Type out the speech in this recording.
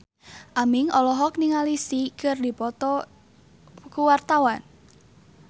Aming olohok ningali Psy keur diwawancara